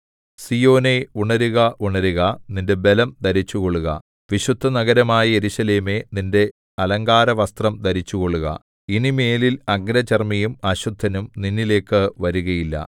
സീയോനേ ഉണരുക ഉണരുക നിന്റെ ബലം ധരിച്ചുകൊള്ളുക വിശുദ്ധനഗരമായ യെരൂശലേമേ നിന്റെ അലങ്കാരവസ്ത്രം ധരിച്ചുകൊള്ളുക ഇനിമേലിൽ അഗ്രചർമ്മിയും അശുദ്ധനും നിന്നിലേക്കു വരുകയില്ല